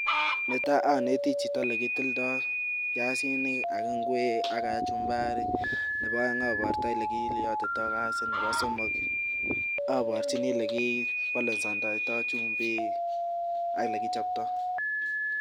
Netai oneti chito ole kitildo biasinik ak ingwek ak kachumbari nebo oen abortoi ole kiiyotito gasit, nebo somok aborchini ole kibalansendoito chumbik ak ele kichopto.